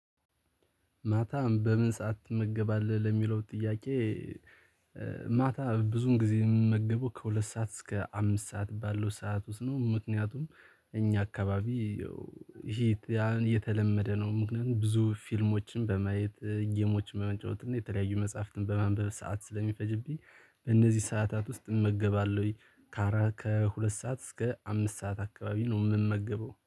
ማታም በምን ሰዓት ትመገባለህ ለሚለው ጥያቄ? ማታ ብዙን ጊዜ የምመገበው ከሁለት ሰዓት እስከ አምስት ሰዓት ባለው ሰዓት ውስጥ ነው። ምክንያቱም እኛ አካባቢ ይሄ ያን የተለመደ ነው። ምክንያቱም ብዙ ፊልሞችን በማየት ጌሞች በመጫወት እና የተለያዩ መጽሐፍትን በማንበብ ሰዓት ስለሚፈጅብኝ በእነዚህ ሰዓታት ውስጥ እመገባለሁኝ። ከአራት ከሁለት ሰዓት እስከ አምስት ሰዓት አካባቢ ነው የምመገበው